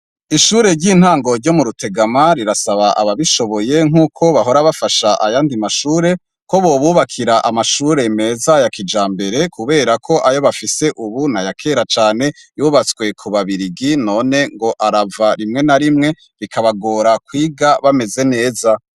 Ishure ry'intango ryo mu Rutegama rirsaba abishoboye nkuko bahora bafasha ayandi mashure ko bobubakira amashure meza ya kijambere Kubera ko ayo bafise ubu nayakera Cane yubatswe kuba biligi none arava rimwe na rimwe bikabagora kwiga bamez neza.